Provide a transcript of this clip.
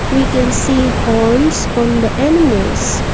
we can see horns on the animals.